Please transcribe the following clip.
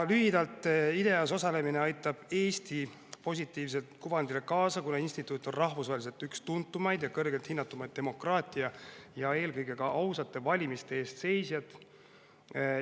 Lühidalt öeldes aitab IDEA-s osalemine Eesti positiivsele kuvandile kaasa, kuna instituut on rahvusvaheliselt üks tuntumaid ja kõrgemalt hinnatuid demokraatia ja eelkõige ausate valimiste eest seisjaid.